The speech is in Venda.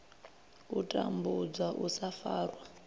u tambudzwa u sa farwa